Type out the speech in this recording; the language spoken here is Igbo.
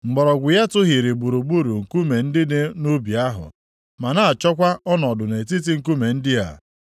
Mgbọrọgwụ ya tụhịrị gburugburu nkume ndị dị nʼubi ahụ, ma na-achọkwa ọnọdụ nʼetiti nkume ndị a.